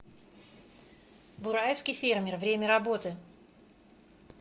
бураевский фермер время работы